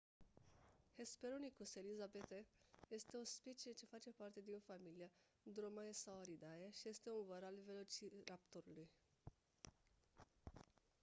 hesperonychus elizabethae este o specie ce face parte din familia dromaeosauridae și este un văr al velociraptorului